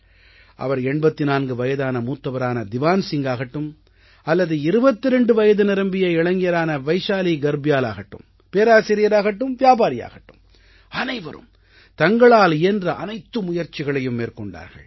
அவர் 84 வயதான மூத்தவரான திவான் சிங்காகட்டும் அல்லது 22 வயது நிரம்பிய இளைஞரான வைஷாலீ கர்ப்யால் ஆகட்டும் பேராசிரியராகட்டும் வியாபாரியாகட்டும் அனைவரும் தங்களால் இயன்ற அனைத்து முயற்சிகளையும் மேற்கொண்டார்கள்